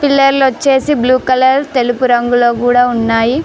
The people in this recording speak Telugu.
వచ్చేసి బ్లూ కలర్ తెలుగు రంగులో కూడా ఉన్నాయి.